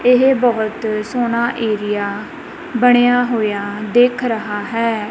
ਇਹ ਬਹੁਤ ਸੋਹਣਾ ਏਰੀਆ ਬਣਿਆ ਹੋਇਆ ਦਿਖ ਰਹਾ ਹੈ।